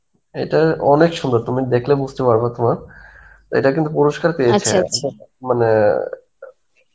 এটা অনেক সুন্দর তুমি দেখলে বুঝতে পারবে তোমার এটা কিন্তু পুরস্কার পেয়েছে. মানে,